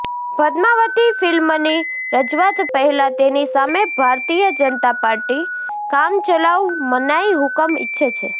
પદ્માવતી ફિલ્મની રજૂઆત પહેલાં તેની સામે ભારતીય જનતા પાર્ટી કામચલાઉ મનાઈ હુકમ ઈચ્છે છે